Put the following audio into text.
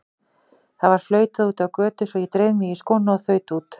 Það var flautað úti á götu svo ég dreif mig í skóna og þaut út.